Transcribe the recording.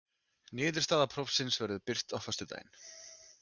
Niðurstaða prófsins verður birt á föstudaginn